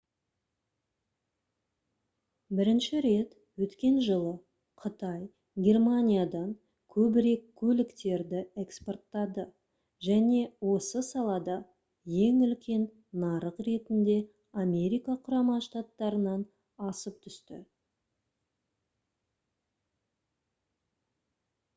бірінші рет өткен жылы қытай германиядан көбірек көліктерді экспорттады және осы салада ең үлкен нарық ретінде америка құрама штаттарынан асып түсті